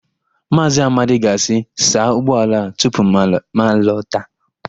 Maazị Amadi ga-asị, "saa ụgbọala a tupu m na-alọta"!